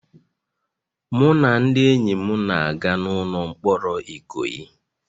Mụ na ndị enyi m na-aga n'ụlọ mkpọrọ Ikoyi